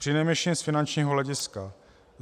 Přinejmenším z finančního hlediska.